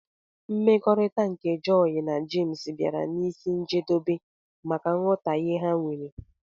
mmekọrita nke joy na james biara n'isi njedobe maka nghotahie ha nwere.